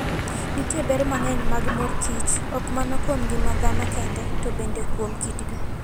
Nitie ber mang'eny mag mor kich, ok mana kuom ngima dhano kende, to bende kuom kitgi.